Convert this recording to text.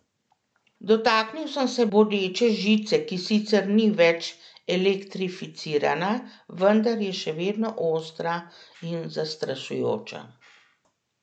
Dotaknil sem se bodeče žice, ki sicer ni več elektrificirana, vendar je še vedno ostra in zastrašujoča.